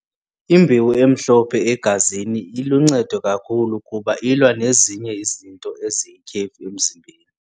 Imbewu emhlophe egazini iluncedo kakhulu kuba ilwa nezinye izinto eziyityhefu emzimbeni.